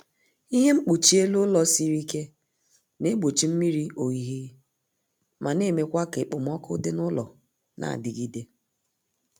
Ihe mkpuchi elu ụlọ siri ike na-egbochi mmiri ohihi ma na-emekwa ka ekpomọku dị n'ụlọ na-adigide